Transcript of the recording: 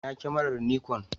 Ina kyamarar Nikon?